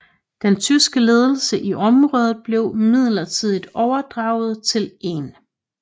Den tyske ledelse i området blev midlertidigt overdraget til 1